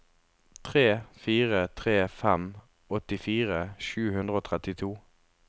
tre fire tre fem åttifire sju hundre og trettito